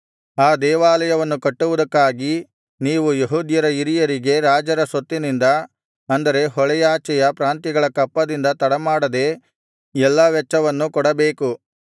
ಆ ದೇವಾಲಯವನ್ನು ಕಟ್ಟುವುದಕ್ಕಾಗಿ ನೀವು ಯೆಹೂದ್ಯರ ಹಿರಿಯರಿಗೆ ರಾಜರ ಸೊತ್ತಿನಿಂದ ಅಂದರೆ ಹೊಳೆಯಾಚೆಯ ಪ್ರಾಂತ್ಯಗಳ ಕಪ್ಪದಿಂದ ತಡಮಾಡದೆ ಎಲ್ಲಾ ವೆಚ್ಚವನ್ನು ಕೊಡಬೇಕು